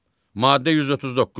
Maddə 139.